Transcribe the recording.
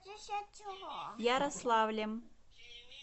ярославлем